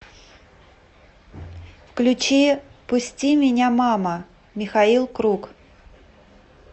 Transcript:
включи пусти меня мама михаил круг